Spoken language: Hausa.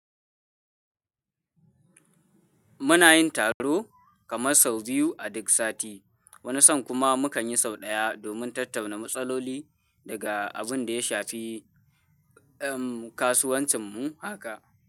Muna yin taro kamar sau biyu a duk sati. Wani san kuma mu kan yi sau ɗaya domin tattauna matsaloli daga abin da ya shafi, em, kasuwancinmu haka.